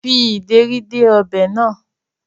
Fi ìdérí dé ọbẹ̀ náà